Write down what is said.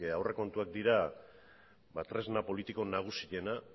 aurrekontuak baitira tresna politika nagusiena